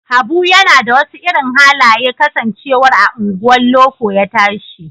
Habu yana da wasu irin halaye kasancewar a unguwar loko ya tashi